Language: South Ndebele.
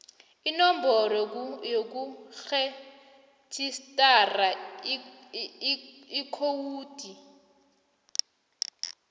inomboro yokurejistara ikhowudi